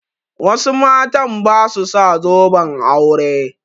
Wasu matan ba su sa zoben aure.